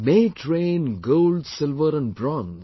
May it rain gold, silver and bronze